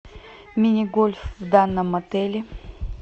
мини гольф в данном отеле